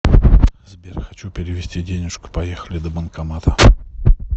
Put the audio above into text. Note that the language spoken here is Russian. сбер хочу перевести денежку поехали до банкомата